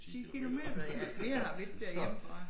10 kilometer nå ja det vi ikke derhjemme fra